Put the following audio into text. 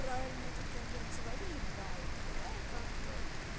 правильная такая блять завали ебало давай как бы